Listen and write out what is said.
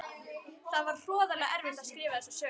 Það var hroðalega erfitt að skrifa þessa sögu.